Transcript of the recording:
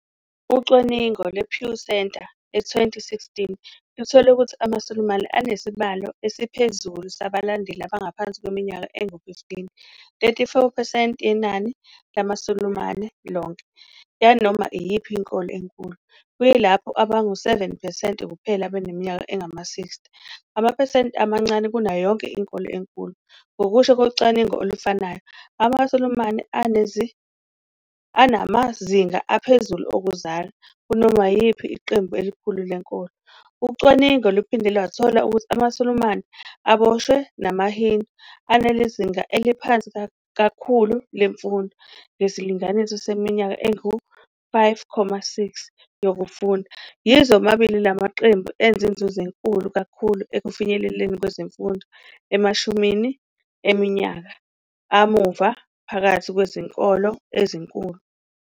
Ucwaningo lwePew Center e2016 luthole ukuthi amaSulumane anesibalo esiphezulu sabalandeli abangaphansi kweminyaka engu-15, 34 percent yenani lamaSulumane lonke, yanoma iyiphi inkolo enkulu, kuyilapho bangu-7 percent kuphela abaneminyaka engama-60 plus, amaphesenti amancane kunayo yonke inkolo enkulu. Ngokusho kocwaningo olufanayo, amaSulumane anamazinga aphezulu okuzala, 3.1, kunoma yiliphi iqembu elikhulu lenkolo. Ucwaningo luphinde lwathola ukuthi amaSulumane, aboshwe namaHindu, anezinga eliphansi kakhulu lemfundo ngesilinganiso seminyaka engu-5.6 yokufunda, yize womabili la maqembu enze inzuzo enkulu kakhulu ekufinyeleleni kwezemfundo emashumini eminyaka amuva phakathi kwezinkolo ezinkulu.